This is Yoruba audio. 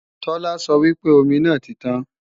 Tola sọ wípé omi náà ti tàn